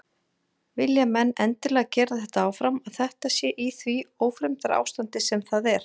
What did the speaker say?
Vilja menn endilega gera þetta áfram að þetta sé í því ófremdarástandi sem það er?